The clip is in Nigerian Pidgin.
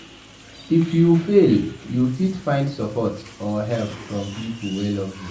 If you fail you fit find support or help from pipo wey love you